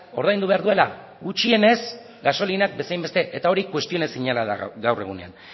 ordaindu behar duela gutxienez gasolinak bezain beste eta hori kuestionaezina da gaur egunean